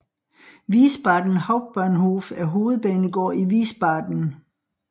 Wiesbaden Hauptbahnhof er hovedbanegård i Wiesbaden